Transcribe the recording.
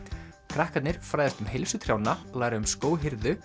krakkarnir fræðast um heilsu trjánna læra um